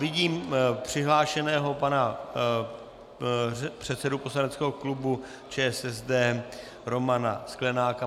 Vidím přihlášeného pana předsedu poslaneckého klubu ČSSD Romana Sklenáka.